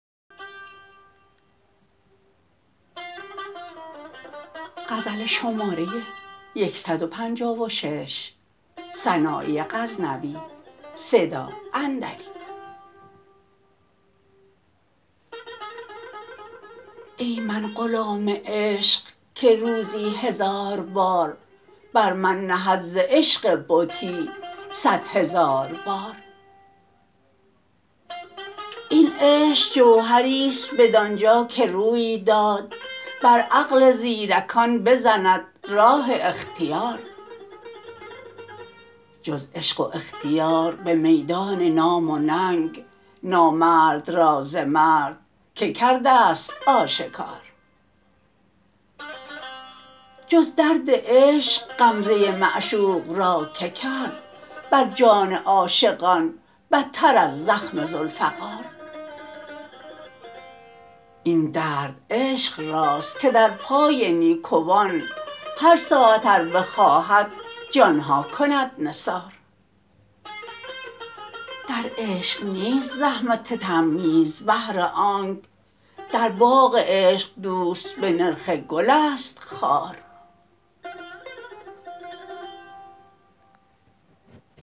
ای من غلام عشق که روزی هزار بار بر من نهد ز عشق بتی صد هزار بار این عشق جوهریست بدانجا که روی داد بر عقل زیرکان بزند راه اختیار جز عشق و اختیار به میدان نام و ننگ نامرد را ز مرد که کرده ست آشکار جز درد عشق غمزه معشوق را که کرد بر جان عاشقان بتر از زخم ذوالفقار این درد عشق راست که در پای نیکوان هر ساعت ار بخواهد جانها کند نثار در عشق نیست زحمت تمییز بهر آنک در باغ عشق دوست به نرخ گل است خار